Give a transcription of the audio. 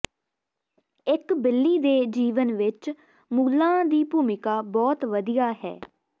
ਇੱਕ ਬਿੱਲੀ ਦੇ ਜੀਵਨ ਵਿੱਚ ਮੂਲਾਂ ਦੀ ਭੂਮਿਕਾ ਬਹੁਤ ਵਧੀਆ ਹੈ